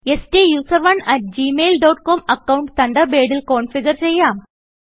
സ്റ്റൂസറോണ് at Gmail dot comഅക്കൌണ്ട് തണ്ടർബേഡിൽ configure ചെയ്യാം